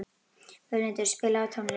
Völundur, spilaðu tónlist.